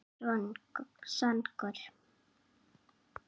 Ég er ekki svangur